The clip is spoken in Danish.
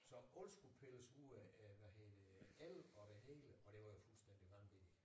Så alt skulle pilles ud af af hvad hedder det el og det hele og det var jo fuldstændig vanvittigt